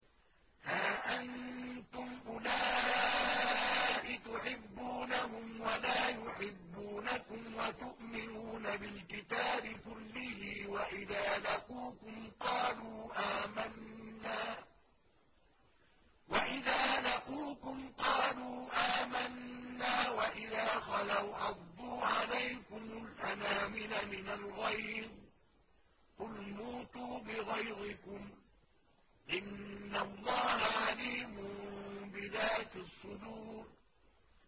هَا أَنتُمْ أُولَاءِ تُحِبُّونَهُمْ وَلَا يُحِبُّونَكُمْ وَتُؤْمِنُونَ بِالْكِتَابِ كُلِّهِ وَإِذَا لَقُوكُمْ قَالُوا آمَنَّا وَإِذَا خَلَوْا عَضُّوا عَلَيْكُمُ الْأَنَامِلَ مِنَ الْغَيْظِ ۚ قُلْ مُوتُوا بِغَيْظِكُمْ ۗ إِنَّ اللَّهَ عَلِيمٌ بِذَاتِ الصُّدُورِ